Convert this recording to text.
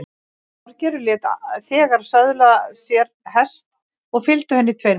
Þorgerður lét þegar söðla sér hest og fylgdu henni tveir menn.